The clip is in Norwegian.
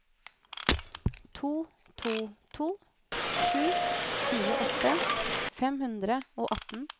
to to to sju tjueåtte fem hundre og atten